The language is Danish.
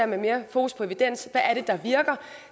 med mere fokus på evidens er det der virker